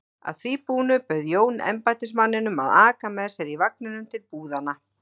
Að því búnu bauð Jón embættismanninum að aka með sér í vagninum til búðanna.